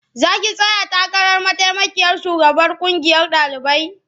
Za ki tsaya takarar mataimakiyar shugabar ƙungiyar ɗalibai?